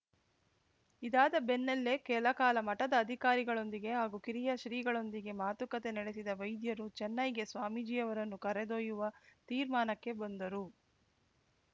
ಇದಾದ ಬೆನ್ನಲ್ಲೇ ಕೆಲಕಾಲ ಮಠದ ಅಧಿಕಾರಿಗಳೊಂದಿಗೆ ಹಾಗೂ ಕಿರಿಯ ಶ್ರೀಗಳೊಂದಿಗೆ ಮಾತುಕತೆ ನಡೆಸಿದ ವೈದ್ಯರು ಚೆನ್ನೈಗೆ ಸ್ವಾಮೀಜಿಯವರನ್ನು ಕರೆದೊಯ್ಯುವ ತೀರ್ಮಾನಕ್ಕೆ ಬಂದರು